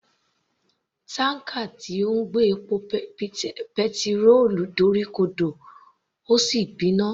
Tanker tí ń gbé epo petirólù dorí ko dò ó sì gbiná.